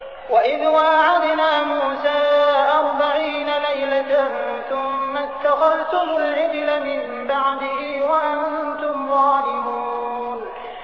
وَإِذْ وَاعَدْنَا مُوسَىٰ أَرْبَعِينَ لَيْلَةً ثُمَّ اتَّخَذْتُمُ الْعِجْلَ مِن بَعْدِهِ وَأَنتُمْ ظَالِمُونَ